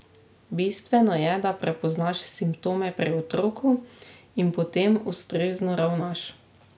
Bistveno je, da prepoznaš simptome pri otroku in potem ustrezno ravnaš.